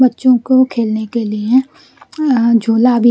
बच्चों को खेलने के लिए झूला भी --